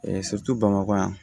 bamakɔ yan